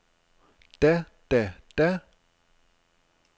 da da da